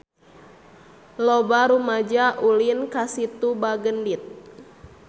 Loba rumaja ulin ka Situ Bagendit